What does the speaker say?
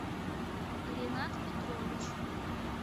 ренат петрович